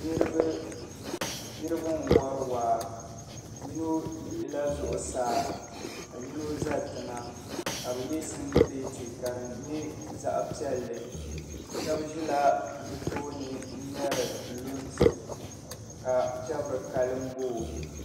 Niriba n wɔri waa yino tiɣi la zuɣusaa ka yino za tiŋa ka bi yɛ singlate ka di yɛ zaɣi piɛlli shɛb zila bi tooi n ŋmari lunsi ka pɛbiri ka lannboo